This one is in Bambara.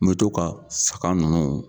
N mɛ to ka saga ninnu